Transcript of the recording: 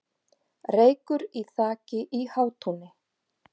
Reykur í þaki í Hátúni